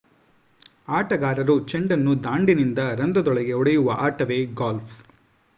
ಆಟಗಾರರು ಚೆಂಡನ್ನು ದಾಂಡಿನಿಂದ ರಂಧ್ರಗಳೊಳಗೆ ಹೊಡೆಯುವ ಆಟವೇ ಗಾಲ್ಫ್